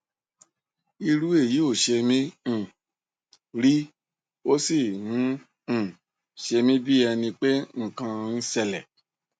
irú èyí ò ṣe mí um rí ó sì ń um ṣemí bí ẹni pé nǹkan ń ṣẹlẹ